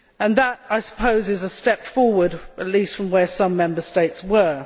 That, I suppose, is a step forward at least from where some Member States were.